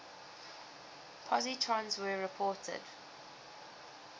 positrons were reported